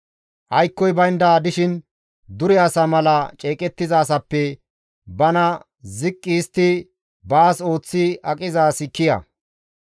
Aykkoy baynda dishin dure asa mala ceeqettiza asappe bana ziqqi histti baas ooththi aqiza asi kiya.